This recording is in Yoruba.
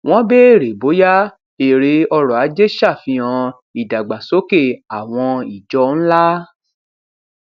wọn bèèrè bóyá èrè ọrọ ajé sàfihàn ìdàgbàsókè àwọn ìjọ ńlá